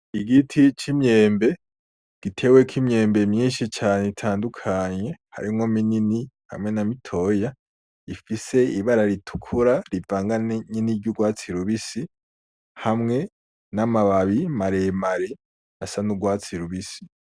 Igiti c’imyembe giteweko imyembe myinshi cane itandukanye harimwo minini hamwe na mitoya ifise ibara ritukura rivanganye niryurwatsi rubisi, hamwe namababi maremare asa nurwatsi rubisi .